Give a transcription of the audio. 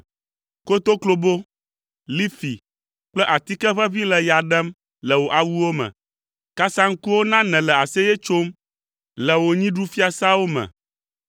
Kotoklobo, lifi kple atike ʋeʋĩ le ya ɖem le wò awuwo me. Kasaŋkuwo na nèle aseye tsom le wò nyiɖufiasawo me.